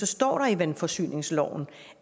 står i vandforsyningsloven